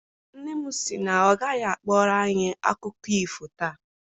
Nne m sị na ọ gaghị akpọrọ anyị akụkọ ifo taa.